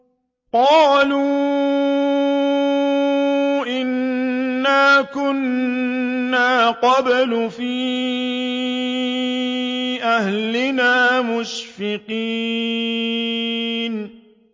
قَالُوا إِنَّا كُنَّا قَبْلُ فِي أَهْلِنَا مُشْفِقِينَ